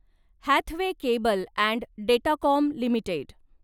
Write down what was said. Hathway cable and Datacom limited